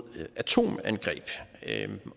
atomangreb